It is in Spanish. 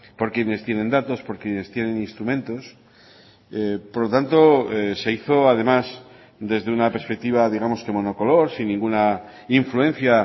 por quienes tienen datos por quienes tienen instrumentos por lo tanto se hizo además desde una perspectiva digamos que monocolor sin ninguna influencia